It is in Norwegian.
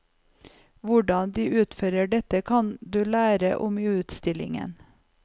Hvordan de utfører dette, kan du lære om i utstillingen.